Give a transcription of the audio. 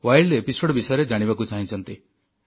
wild ଅଧ୍ୟାୟ ବିଷୟରେ ଜାଣିବାକୁ ଚାହିଁଛନ୍ତି